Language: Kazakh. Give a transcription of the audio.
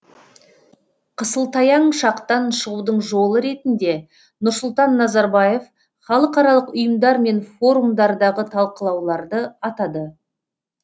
қысылтаяң шақтан шығудың жолы ретінде нұрсұлтан назарбаев халықаралық ұйымдар мен форумдардағы талқылауларды атады